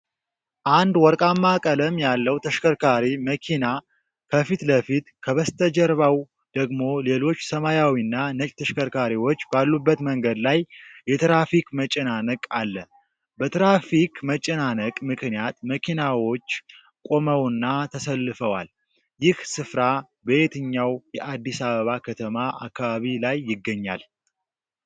አንድ ወርቃማ ቀለም ያለው ተሽከርካሪ (መኪና) ከፊት ለፊት፣ ከበስተጀርባው ደግሞ ሌሎች ሰማያዊና ነጭ ተሽከርካሪዎች ባሉበት መንገድ ላይ የትራፊክ መጨናነቅ አለ፤ በትራፊክ መጨናነቅ ምክንያት መኪናዎች ቆመውና ተሰልፈዋል፤ ይህ ሥፍራ በየትኛው የአዲስ አበባ ከተማ አከባቢ ላይ ይገኛል?